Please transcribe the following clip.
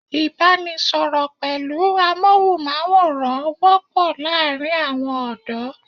Ìbánisọ̀rọ̀ pẹ̀lú amóhùnmáwòrán wọ́pọ̀ láàárín àwọn ọ̀dọ́